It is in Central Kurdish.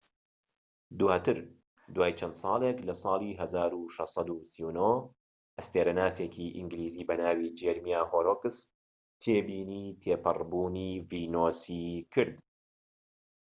دواتر، دوای چەند ساڵێک لە ساڵی 1639 ئەستێرەناسێکی ئینگلیزی بە ناوی جێرمیا هۆررۆکس تێبینی تێپەڕ بوونی ڤینۆسی کرد‎